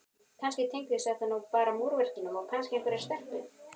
kannski tengdist það bara múrverkinu og kannski einhverri stelpu.